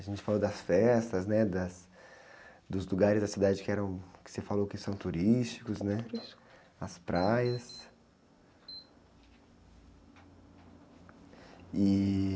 A gente falou das festas, né? Das, dos lugares da cidade que você falou que eram, que são turísticos, né?sso.s praias, ih...